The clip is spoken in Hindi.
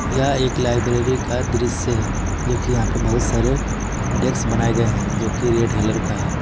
यह एक लाइब्रेरी का दृश्य है जो कि यहां पे बहुत सारे डेस्क बनाए गए हैं जो की रेड कलर का है।